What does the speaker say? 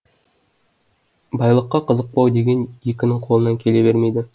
байлыққа қызықпау деген екінің қолынан келе бермейді